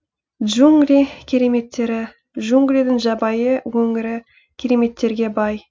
джунгли кереметтері джунглидің жабайы өңірі кереметтерге бай